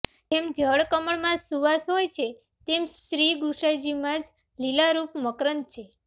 જેમ જળકમળમાં સુવાસ હોય છે તેમ શ્રીગુંસાઈજીમાં જ લીલારૂપ મકરંદ છે